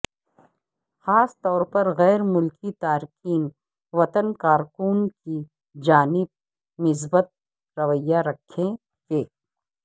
خاص طور پر غیر ملکی تارکین وطن کارکنوں کی جانب مثبت رویہ رکھیں کہ